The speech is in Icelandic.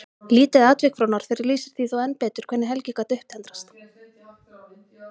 Lítið atvik frá Norðfirði lýsir því þó enn betur hvernig Helgi gat upptendrast.